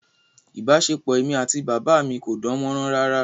Ìbáṣepọ̀ èmi àti bàbá mi kò dán mọ́rán rárá